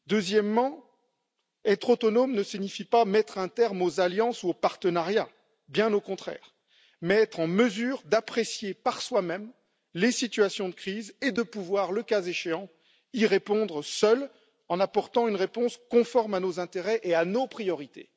Ensuite, être autonomes ne signifie pas mettre un terme aux alliances ou aux partenariats, bien au contraire, mais être en mesure d'apprécier par soi même les situations de crise et de pouvoir, le cas échéant, y répondre seuls en apportant une réponse conforme à nos intérêts et à nos priorités.